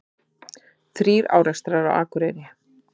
Þrír árekstrar á Akureyri